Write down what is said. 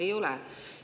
Ei ole.